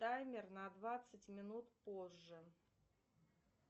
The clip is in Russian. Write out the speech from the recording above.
таймер на двадцать минут позже